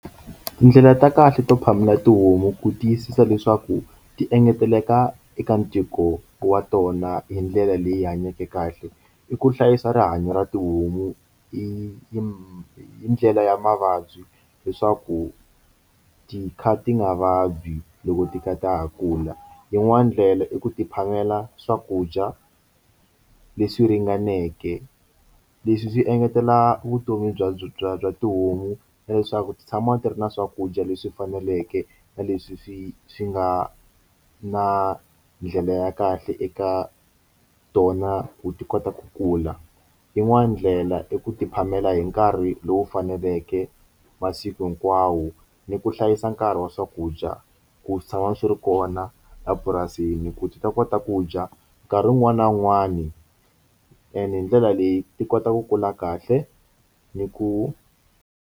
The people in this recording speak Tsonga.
Tindlela ta kahle to phamela tihomu ku tiyisisa leswaku ti engeteleka eka ntiko wa tona hi ndlela leyi hanyeke kahle i ku hlayisa rihanyo ra tihomu hi ndlela ya mavabyi leswaku ti kha ti nga vabyi loko ti kha ta ha kula yin'wani ndlela i ku ti phamela swakudya leswi ringaneke leswi swi engetela vutomi bya bya bya tihomu leswaku ti tshama ti ri na swakudya leswi faneleke na leswi swi swi nga na ndlela ya kahle eka tona ti kota ku kula yin'wani ndlela i ku ti phamela hi nkarhi lowu faneleke masiku hinkwawo ni ku hlayisa nkarhi wa swakudya ku swi tshama swi ri kona epurasini ku ti ta kota ku dya nkarhi wun'wani na wun'wani and hi ndlela leyi ti kota ku kula kahle ni ku.